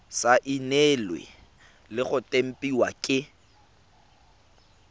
saenilwe le go tempiwa ke